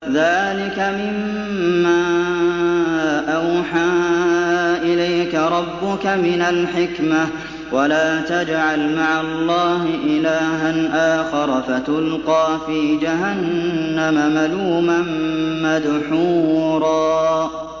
ذَٰلِكَ مِمَّا أَوْحَىٰ إِلَيْكَ رَبُّكَ مِنَ الْحِكْمَةِ ۗ وَلَا تَجْعَلْ مَعَ اللَّهِ إِلَٰهًا آخَرَ فَتُلْقَىٰ فِي جَهَنَّمَ مَلُومًا مَّدْحُورًا